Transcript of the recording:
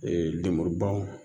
lemurubaw